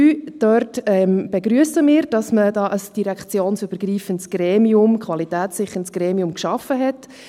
Dort begrüssen wir, dass man ein direktionsübergreifendes, qualitätssicherndes Gremium geschaffen hat.